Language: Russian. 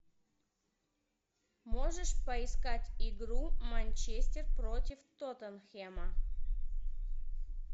можешь поискать игру манчестер против тоттенхэма